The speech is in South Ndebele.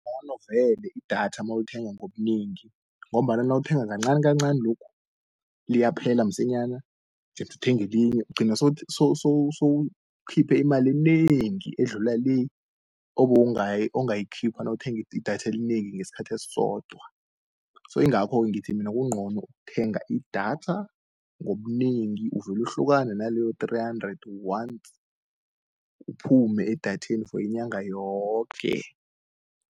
Ngcono vele idatha mawulithengi ngobunengi, ngombana nawuthenga kancanikancani lokhu, liyaphela msinyana qeduthenge elinye. Uqina sowukhiphi imali enengi edlula le, ongayikhipha nawuthengi idatha elinengi ngeskhathi esodwa. Soke ingakho ngithi mina kungcono ukuthenga idatha ngobunengi uvelu hlukane naloyo three hundred once, uphume edatheni for inyanga yoke.